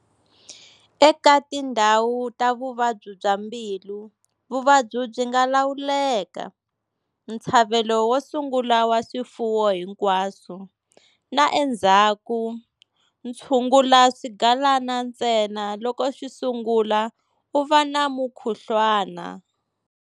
Eka tindhawu ta vuvabyi bya mbilu, vuvabyi byi nga lawuleka-ntshavelo wo sungula wa swifuwo hinkwaswo, na endzhaku, tshungula swigalana ntsena loko swi sungula u va na mukhuhluwana.